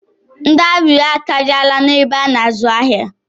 Ndị arịrịọ akarịala n'ihu marketplace mọl